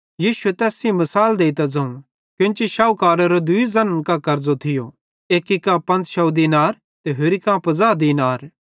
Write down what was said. यीशुए तैस सेइं मिसाल देइतां ज़ोवं केन्ची शोहुकारेरो केन्ची दूई ज़न्न कां कर्ज़ो थियो एक्की कां 500 दीनार ते होरि कां 50 दीनार थिये